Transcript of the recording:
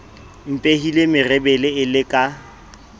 mpehile merebele e le ka